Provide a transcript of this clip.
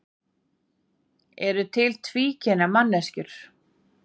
eru til tvíkynja manneskjur